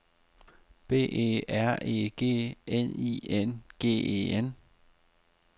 B E R E G N I N G E N